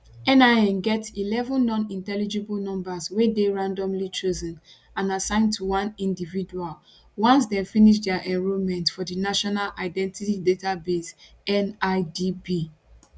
nin get eleven nonintelligible numbers wey dey randomly chosen and assigned to one individual once dem finish dia enrolment for di national identity database nidb